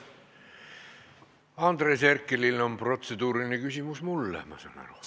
Andres Herkelil on protseduuriline küsimus mulle, ma saan nii aru.